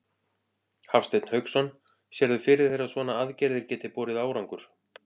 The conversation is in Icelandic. Hafsteinn Hauksson: Sérðu fyrir þér að svona aðgerðir geti borið árangur?